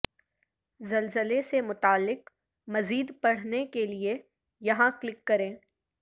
زلزلے سے متعلق مزید پڑھنے کے لیے یہاں کلک کریں